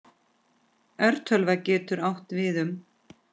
Örtölva getur átt við um